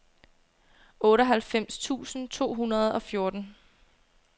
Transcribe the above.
otteoghalvfems tusind to hundrede og fjorten